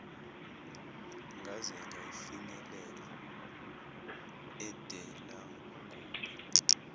ngaze ngafinyelela edelagubhe